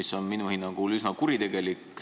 See on minu hinnangul üsna kuritegelik.